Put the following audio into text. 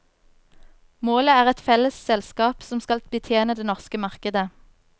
Målet er et felles selskap som skal betjene det norske markedet.